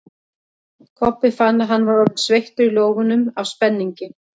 Kobbi fann að hann var orðinn sveittur í lófunum af spenningi.